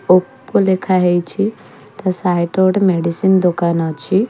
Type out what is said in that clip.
Oppo ଲେଖା ହେଇଛି। ତା ସାଇଟ୍ ରେ ଗୋଟେ ମେଡ଼ିସିନ୍ ଦୋକାନ ଅଛି।